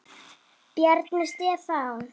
Bjarni Stefán.